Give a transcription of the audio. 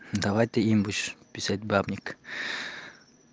давайте им будешь писать бабник